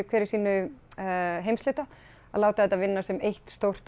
hver í sínum heimshluta að láta þetta vinna sem eitt stórt